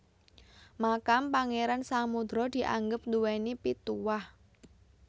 Makam Pangeran Samudra dianggep nduweni pituwah